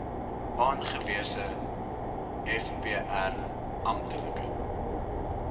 aangewese vpr amptelike